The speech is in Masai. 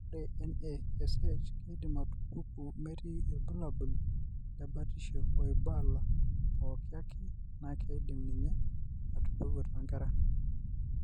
Ore NASH keidim atupuku metii orbulabuli lebatisho oibala pooki ake naa keidim ninye atupuku toonkera.